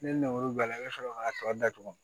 Ni ngɔl'a la i bɛ sɔrɔ k'a tɔ datugu